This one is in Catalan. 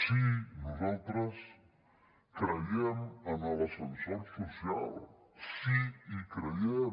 sí nosaltres creiem en l’ascensor social sí hi creiem